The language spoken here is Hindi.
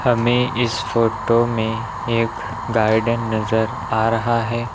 हमें इस फोटो में एक गार्डेन नजर आ रहा है।